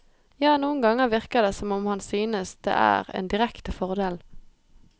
Ja, noen ganger virker det som om han synes det er en direkte fordel.